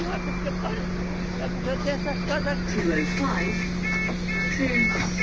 Não, é porque, é porque eu tenho essas casas aqui, né?